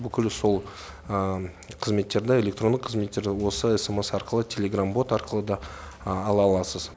бүкіл сол қызметтерді электронды қызметтерді осы смс арқылы телеграм бот арқылы да ала аласыз